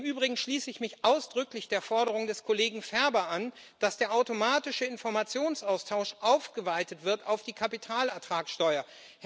Im Übrigen schließe ich mich ausdrücklich der Forderung des Kollegen Ferber an, dass der automatische Informationsaustausch ausgeweitet wird auf die Kapitalertragsteuer.